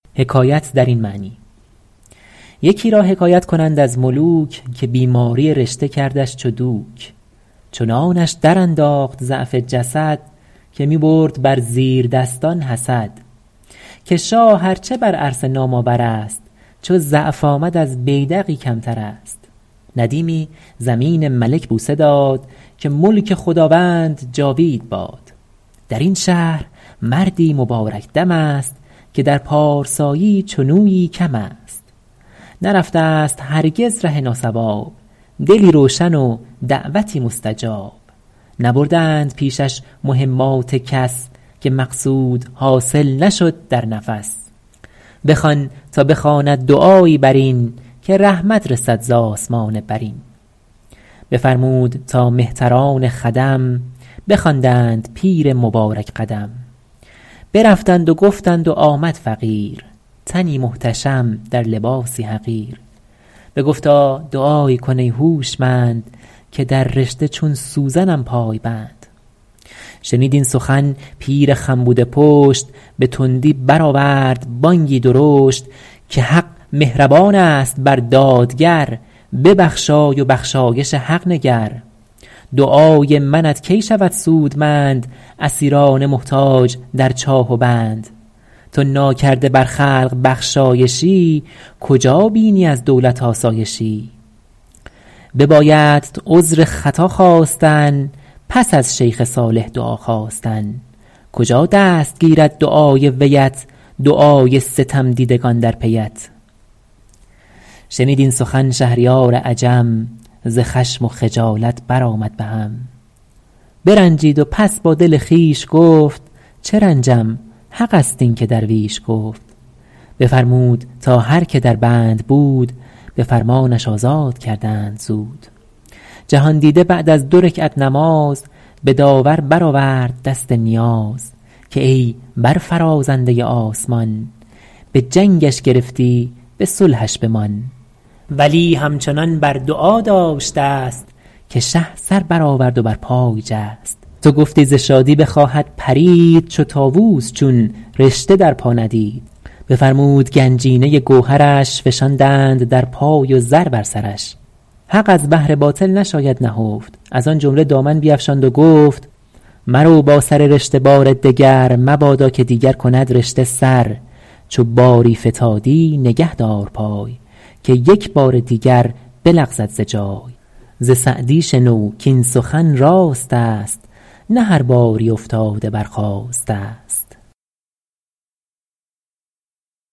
یکی را حکایت کنند از ملوک که بیماری رشته کردش چو دوک چنانش در انداخت ضعف جسد که می برد بر زیردستان حسد که شاه ار چه بر عرصه نام آور است چو ضعف آمد از بیدقی کمتر است ندیمی زمین ملک بوسه داد که ملک خداوند جاوید باد در این شهر مردی مبارک دم است که در پارسایی چنویی کم است نرفته ست هرگز ره ناصواب دلی روشن و دعوتی مستجاب نبردند پیشش مهمات کس که مقصود حاصل نشد در نفس بخوان تا بخواند دعایی بر این که رحمت رسد ز آسمان برین بفرمود تا مهتران خدم بخواندند پیر مبارک قدم برفتند و گفتند و آمد فقیر تنی محتشم در لباسی حقیر بگفتا دعایی کن ای هوشمند که در رشته چون سوزنم پای بند شنید این سخن پیر خم بوده پشت به تندی برآورد بانگی درشت که حق مهربان است بر دادگر ببخشای و بخشایش حق نگر دعای منت کی شود سودمند اسیران محتاج در چاه و بند تو ناکرده بر خلق بخشایشی کجا بینی از دولت آسایشی ببایدت عذر خطا خواستن پس از شیخ صالح دعا خواستن کجا دست گیرد دعای ویت دعای ستمدیدگان در پیت شنید این سخن شهریار عجم ز خشم و خجالت بر آمد بهم برنجید و پس با دل خویش گفت چه رنجم حق است این که درویش گفت بفرمود تا هر که در بند بود به فرمانش آزاد کردند زود جهاندیده بعد از دو رکعت نماز به داور برآورد دست نیاز که ای برفرازنده آسمان به جنگش گرفتی به صلحش بمان ولی همچنان بر دعا داشت دست که شه سر برآورد و بر پای جست تو گفتی ز شادی بخواهد پرید چو طاووس چون رشته در پا ندید بفرمود گنجینه گوهرش فشاندند در پای و زر بر سرش حق از بهر باطل نشاید نهفت از آن جمله دامن بیفشاند و گفت مرو با سر رشته بار دگر مبادا که دیگر کند رشته سر چو باری فتادی نگه دار پای که یک بار دیگر بلغزد ز جای ز سعدی شنو کاین سخن راست است نه هر باری افتاده برخاسته ست